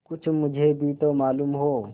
कुछ मुझे भी तो मालूम हो